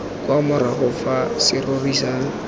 kwa morago fa serori sa